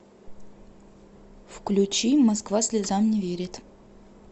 включи москва слезам не верит